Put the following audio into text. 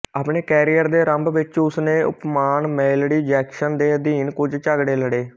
ਆਪਣੇ ਕੈਰੀਅਰ ਦੇ ਅਰੰਭ ਵਿੱਚ ਉਸ ਨੇ ਉਪਨਾਮ ਮੇਲਡੀ ਜੈਕਸਨ ਦੇ ਅਧੀਨ ਕੁਝ ਝਗੜੇ ਲੜੇ